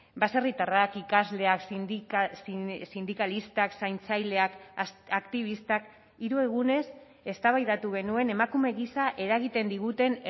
baserritarrak ikasleak sindikalistak zaintzaileak aktibistak hiru egunez eztabaidatu genuen emakume gisa eragiten diguten